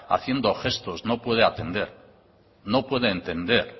haciendo gestos no puede atender no puede entender